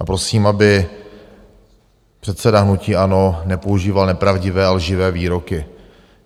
A prosím, aby předseda hnutí ANO nepoužíval nepravdivé a lživé výroky.